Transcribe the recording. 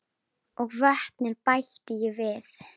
Og vötnin bætti ég við.